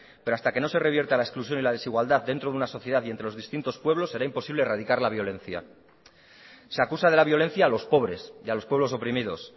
pero hasta que no se revierta la exclusión y la desigualdad dentro de una sociedad y entre los distintos pueblos será imposible erradicar la violencia se acusa de la violencia a los pobres y a los pueblos oprimidos